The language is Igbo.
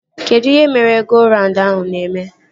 Kedụ ihe meri-go-raund ahụ na-eme?